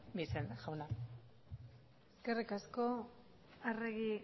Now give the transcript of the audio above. bixen jauna eskerrik asko arregi